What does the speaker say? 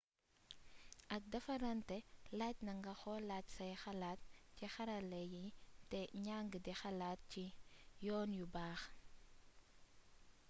ak défaranté laajna nga xolaat say xalaat ci xarala yi té njang di xalaat ci ay yoon yu baax